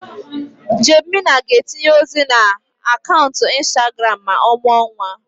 Jane Mena ga-etinye ozi na akaụntụ Instagram ma ọ mụọ nwa.